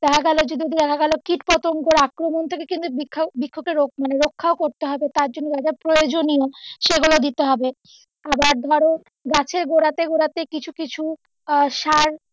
দেখা গেলো যে দেখা গেলো কীট পতঙ্গের যে আক্রমন থেকে কিন্তু বৃক্ষ মানে বৃক্ষকে রক্ষা করতে হবে তার জন্য প্রয়োজনীয় সেগুলো দিতে হবে আবার ধরো গাছের গোড়াতে গোড়াতে কিছু কিছু আহ সার,